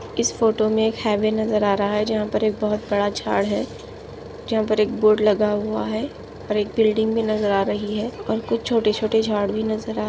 इस फोटो में एक हायवे नजर आ रहा है जहा पर एक बहुत बड़ा झाड है जहा पर एक बोर्ड लगा हुआ है और एक बिल्डिंग भी नजर आ रही है और कुछ छोटे छोटे झाड भी नजर आ--